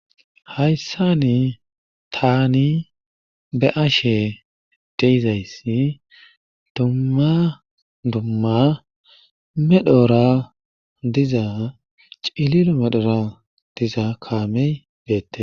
Hayssani tani be7ashe de7izayssi dumma dumma medhora diza cililo medhora diza kaame beete.